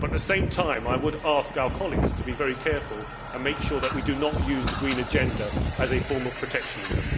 At the same time, I would ask our colleagues to be very careful and make sure that we do not use the green agenda as a form of protectionism.